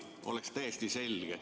Siis oleks täiesti selge.